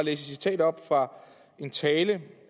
et citat op fra en tale